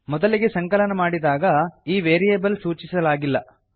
ಮೊದಲಿಗೆ ಸಂಕಲನ ಮಾಡಿದಾಗ ಈ ವೇರಿಯಬಲ್ ಸೂಚಿಸಲಾಗಿಲ್ಲ